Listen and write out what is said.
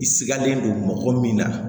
I sigalen don mɔgɔ min na